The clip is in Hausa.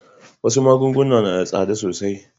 Wasu magunguna na da tsada sosai.